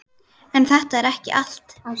En þetta er ekki allt.